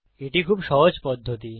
এটি খুব সহজ পদ্ধতি